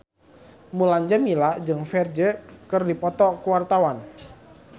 Mulan Jameela jeung Ferdge keur dipoto ku wartawan